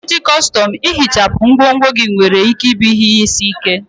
Iji kọstọm ihichapụ ngwongwo gị nwere ike ịbụ ihe isi ike.